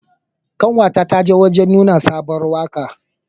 Ƙanwa ta ta je wajan nuna sabuwar waka.